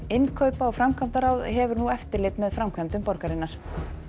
innkaupa og framkvæmdaráð hefur nú eftirlit með framkvæmdum borgarinnar